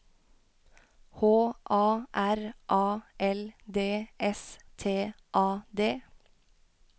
H A R A L D S T A D